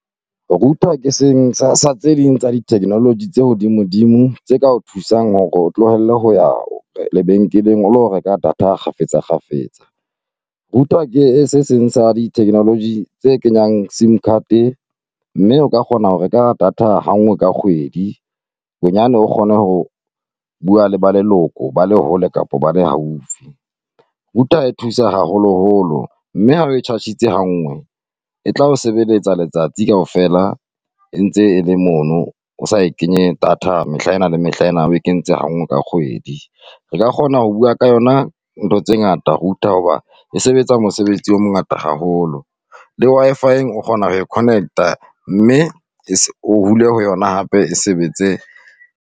Router ke seng sa tse ding tsa di-technology tse hodimodimo tse ka o thusang hore o tlohelle ho ya lebenkeleng, o lo reka data kgafetsa-kgafetsa . Router ke se seng sa di-technology tse kenyang SIM card-e, mme o ka kgona ho reka data ha ngwe ka kgwedi. Bonyane o kgone ho bua le ba leloko ba le hole kapa ba le haufi. Router e thusa haholoholo mme ha re e charge-itse ha ngwe, e tla o sebeletsa letsatsi kaofela e ntse e le mono o sa e kenye data, mehla ena le mehla ena o kentse ha ngwe ka kgwedi. Re ka kgona ho bua ka yona ntho tse ngata router, hoba e sebetsa mosebetsi o mongata haholo. Le Wi_Fi-eng o kgona ho e connect-a, mme o hole ho yona hape e sebetse.